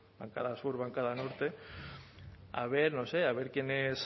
bancada sur bancada norte a ver no sé a ver quién es